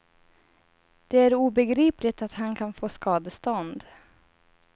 Det är obegripligt att han kan få skadestånd.